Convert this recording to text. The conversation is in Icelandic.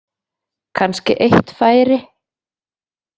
Kannski eitt færi.